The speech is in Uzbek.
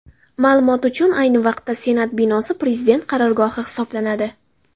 Ma’lumot uchun, ayni vaqtda Senat binosi Prezident qarorgohi hisoblanadi.